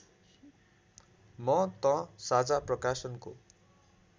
म त साझा प्रकाशनको